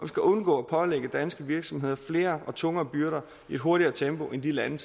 skal undgå at pålægge danske virksomheder flere og tungere byrder i et hurtigere tempo end de lande